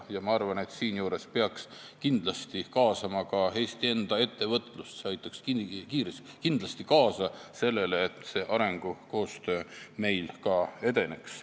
Ma arvan, et peaks kaasama Eesti enda ettevõtlust, see aitaks kindlasti kaasa sellele, et arengukoostöö meil edeneks.